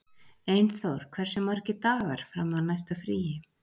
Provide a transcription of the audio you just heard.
Einþór, hversu margir dagar fram að næsta fríi?